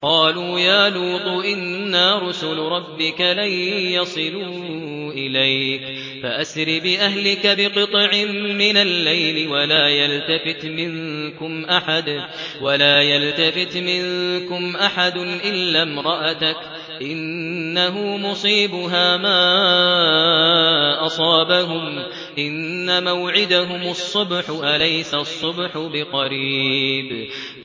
قَالُوا يَا لُوطُ إِنَّا رُسُلُ رَبِّكَ لَن يَصِلُوا إِلَيْكَ ۖ فَأَسْرِ بِأَهْلِكَ بِقِطْعٍ مِّنَ اللَّيْلِ وَلَا يَلْتَفِتْ مِنكُمْ أَحَدٌ إِلَّا امْرَأَتَكَ ۖ إِنَّهُ مُصِيبُهَا مَا أَصَابَهُمْ ۚ إِنَّ مَوْعِدَهُمُ الصُّبْحُ ۚ أَلَيْسَ الصُّبْحُ بِقَرِيبٍ